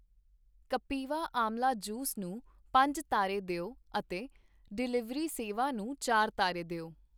ਕਪਿਵਾ ਆਂਵਲਾ ਜੂਸ ਨੂੰ ਪੰਜ ਤਾਰੇ ਦਿਓ ਅਤੇ ਡਿਲੀਵਰੀ ਸੇਵਾ ਨੂੰ ਚਾਰ ਤਾਰੇ ਦਿਓ।